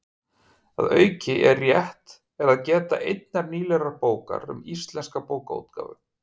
Að auki er rétt er að geta einnar nýlegrar bókar um íslenska bókaútgáfu: